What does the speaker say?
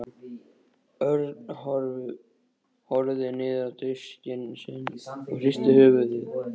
Örn horfði niður á diskinn sinn og hristi höfuðið.